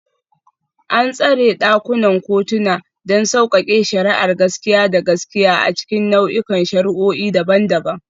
An tsara ɗakunan kotuna don sauƙaƙe shari'ar gaskiya da gaskiya a cikin nau'ikan shari'o'i daban-daban.